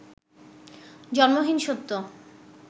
জন্মহীন সত্য